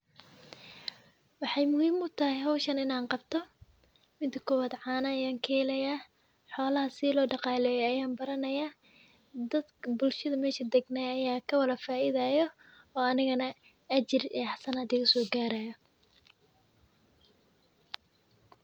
Waxay muhiim u tahay hawshana in aan qabto. Mida kowad caana ayaan kehelaya, xoolaha si loo dhaqaaleeyo ayaan baranaya, dadka bulshada meeshu deganaa ayaa ka wala faa'iidayo oo anigana ajir iyo hasanad iga soo gaarayo.